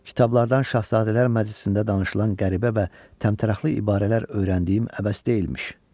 Kitablardan şahzadələr məclisində danışılan qəribə və təmtəraqlı ibarələr öyrəndiyim əbəs deyilmiş.